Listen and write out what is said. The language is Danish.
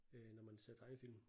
Øh når man ser tegnefilm